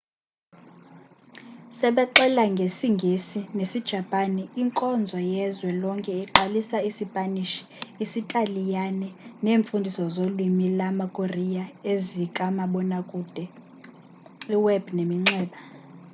sebexela ngesi-ngesi nesi-japan inkonzo yezwe lonke iqalisa i-sipanish isitaliyani neemfundiso zolwimi lama-korea ezikamabona kude i-web neminxeba